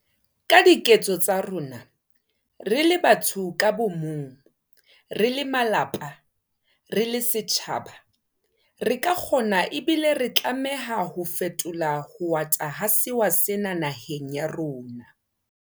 Ka diketso tsa rona, re le batho ka bomong, re le malapa, re le setjhaba, re ka kgona ebile re tlameha ho fetola ho ata ha sewa sena naheng ya rona.